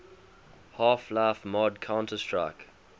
half life mod counter strike